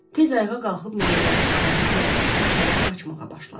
Tez ayağa qalxıb meynələrin arası ilə çəpərə tərəf qaçmağa başladı.